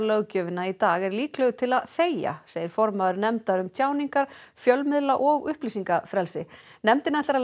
hegningarlöggjöfina í dag er líklegur til að þegja segir formaður nefndar um tjáningar fjölmiðla og upplýsingafrelsi nefndin ætlar að